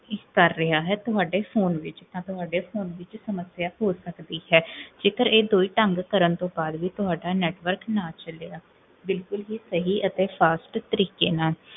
ਕਰ ਰਿਹਾ ਹੈ, ਤੁਹਾਡੇ ਫੋਨ ਵਿੱਚ ਤੁਹਾਡੇ phone ਵਿੱਚ ਸਮਸਿਆ ਹੋ ਸਕਦੀ ਹੈ ਜੇਕਰ ਇਹ ਦੋ ਹੀ ਢੰਗ ਕਰਨ ਤੋਂ ਬਾਦ ਵੀ ਤੁਹਾਡਾ network ਨਾ ਚਲਿਆ ਬਿਲਕੁਲ ਵੀ ਸਹੀ ਅਤੇ fast ਤਰੀਕੇ ਨਾਲ